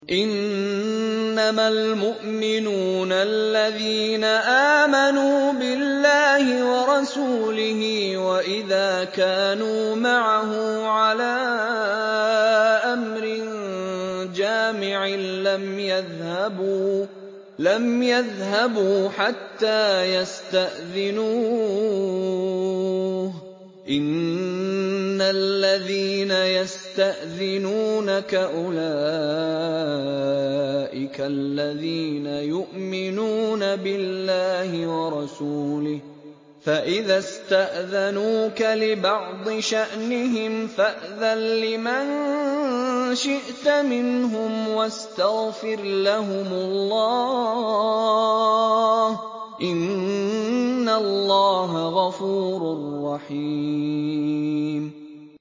إِنَّمَا الْمُؤْمِنُونَ الَّذِينَ آمَنُوا بِاللَّهِ وَرَسُولِهِ وَإِذَا كَانُوا مَعَهُ عَلَىٰ أَمْرٍ جَامِعٍ لَّمْ يَذْهَبُوا حَتَّىٰ يَسْتَأْذِنُوهُ ۚ إِنَّ الَّذِينَ يَسْتَأْذِنُونَكَ أُولَٰئِكَ الَّذِينَ يُؤْمِنُونَ بِاللَّهِ وَرَسُولِهِ ۚ فَإِذَا اسْتَأْذَنُوكَ لِبَعْضِ شَأْنِهِمْ فَأْذَن لِّمَن شِئْتَ مِنْهُمْ وَاسْتَغْفِرْ لَهُمُ اللَّهَ ۚ إِنَّ اللَّهَ غَفُورٌ رَّحِيمٌ